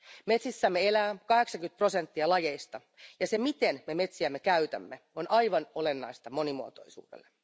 Metsissämme elää 80 prosenttia lajeista ja se, miten me metsiämme käytämme, on aivan olennaista monimuotoisuudelle.